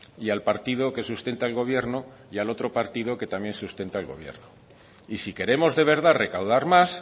y al partido que sustenta el gobierno y al otro partido que también sustenta el gobierno y si queremos de verdad recaudar más